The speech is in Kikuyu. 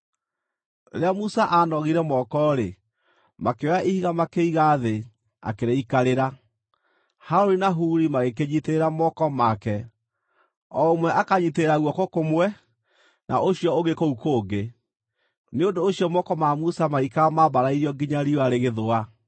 Rĩrĩa Musa aanogire moko-rĩ, makĩoya ihiga makĩiga thĩ akĩrĩikarĩra. Harũni na Huri magĩkĩnyiitĩrĩra moko make, o ũmwe akanyiitĩrĩra guoko kũmwe, na ũcio ũngĩ kũu kũngĩ. Nĩ ũndũ ũcio moko ma Musa magĩikara mambarairio nginya riũa rĩgĩthũa.